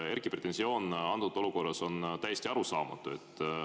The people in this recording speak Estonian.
Erkki pretensioon antud olukorras on täiesti arusaamatu.